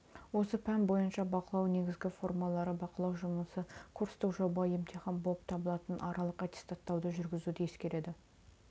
осы пән бойынша бақылау негізгі формалары бақылау жұмысы курстық жоба емтихан болып табылатын аралық аттестаттауды жүргізуді ескереді